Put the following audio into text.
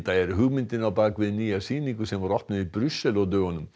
er hugmyndin á bak við nýja sýningu sem opnuð var í Brussel á dögunum